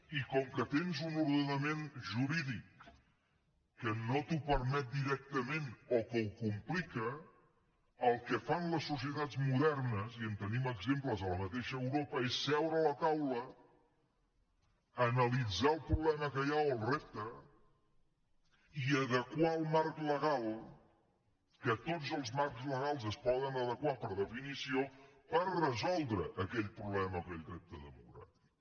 i com que tens un ordenament jurídic que no t’ho permet directament o que ho complica el que fan les societats modernes i en tenim exemples a la mateixa europa és seure a la taula analitzar el problema que hi ha o el repte i adequar el marc legal que tots els marcs legals es poden adequar per definició per resoldre aquell problema o aquell repte democràtic